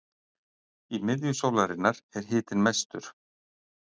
í miðju sólarinnar er hitinn mestur